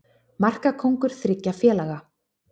Markakóngur þriggja félaga